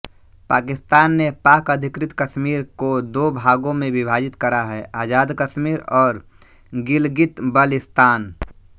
पाकिस्तान ने पाकअधिकृत कश्मीर को दो भागों में विभाजित करा है आज़ाद कश्मीर और गिलगितबल्तिस्तान